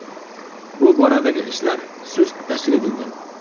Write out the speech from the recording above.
Bu boradagi ishlar sust tashkil etilgan.